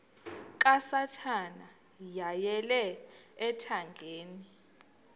kasathana yeyele ethangeni